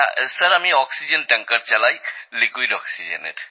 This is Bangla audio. স্যার আমি অক্সিজেনের ট্যাঙ্কার চালাইতরল অক্সিজেনের